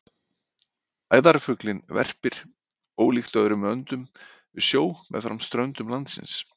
Æðarfuglinn verpir, ólíkt öðrum öndum, við sjó meðfram ströndum landsins.